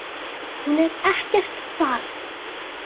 Hún er ekkert barn.